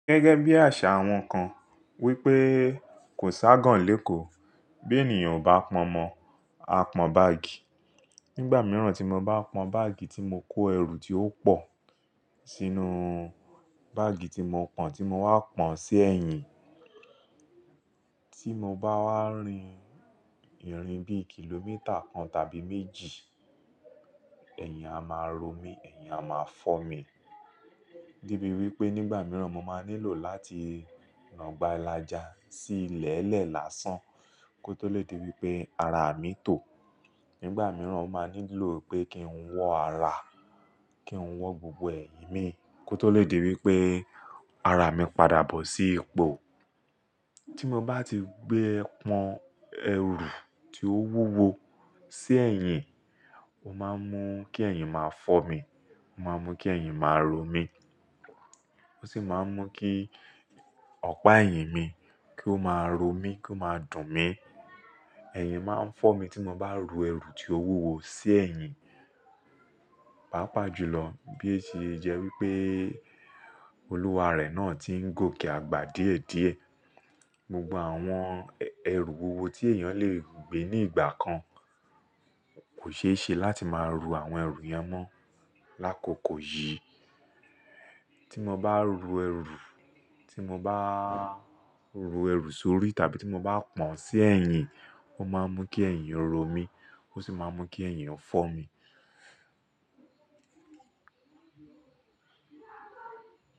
Gẹ́gẹ́ bí àṣà àwọn kan wípé kò ságan lé kò bó ènìyàn ò bá pọn mọ, a pọn báàgì. Nígbà mìíràn tí mo bá pọn báàgì tí mo kó ẹrù tí ó pọ̀ sínú báàgì tí mo pọn tí mo wá pọn sí ẹ̀yìn, tí mo bá wá rin ìrìn bí kìlómítà kan tàbí méjì, ẹ̀yìn a máa ro mí, ẹ̀yìn a máa fọ́ mi. Debí wípé nígbà mìíràn mo máa nílò láti nàgbà lája sí ilẹ̀ẹ́lẹ̀ lásán kó tó lè di wípé ara mi tó. Nígbà mìíràn mo máa nílò pé kí n wọ́ ara, kí n wọ́ gbogbo ẹ̀yìn mi kó tó lè di wípé ara mi padà bọ́ sí ipò. Tí mo bá ti gbé pọn ẹrù tí ó wúwo sí ẹ̀yìn, ó máa ń mú kí ẹ̀yìn máa fọ́ mi, ó máa ń mú kí ẹ̀yìn máa ro mí. Ó sì máa ń mú kí ọ̀pá ẹ̀yìn mi kó máa ro mí, kó máa dùn mí. Ẹ̀yìn máa ń fọ́ mi tí mo bá ru ẹrù tí ó wúwo sí ẹ̀yìn. Pápa jùlọ bí o se jẹ́ wípé olúwarẹ̀ náà ti ń gòkè àgbà díẹ̀ díẹ̀. Gbogbo àwọn ẹrù wúwo tí èèyàn lè gbé ní ìgbà kan kò ṣeéṣe láti máa ru àwọn ẹrù yẹn mọ́ lákòókò yìí. Tí mo bá ro ẹrù, tí mo bá ru ẹrù sórí tàbí tí mo bá pọn sí ẹ̀yìn, ó máa ń mú kí ẹ̀yìn ro mí, ó sì máa ń mú kí ẹ̀yìn fọ́ mi.